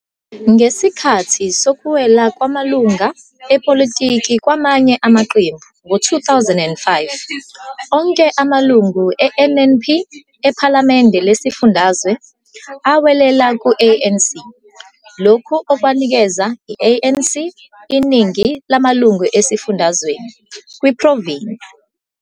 Ngesikhathi sokuwela kwamalunga epolitiki kwamanye amaqembu ngo- 2005 onke amalungu e-NNP ePhalamende Lesifundazwe awelela ku-ANC, lokhu okwanikeza i-ANC iningi lamalunga esifundazweni, kwiprovinsi.